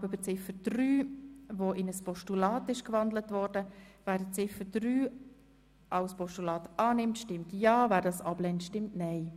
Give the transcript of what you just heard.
Wer Ziffer 3 als Postulat annehmen will, stimmt Ja, wer sie ablehnt, stimmt Nein.